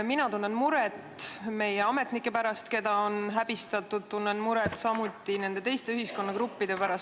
Mina tunnen muret meie ametnike pärast, keda on häbistatud, ja tunnen muret ka teatud teiste ühiskonnagruppide pärast.